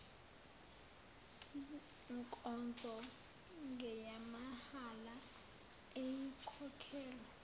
nkonzo ngeyamahhala ayikhokhelwa